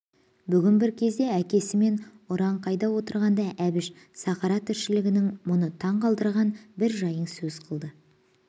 бүгін бір кезде әкесімен ұраңқайда отырғанда әбіш сахара тіршілігінің мұны таңғалдырған бір жайың сөз қылды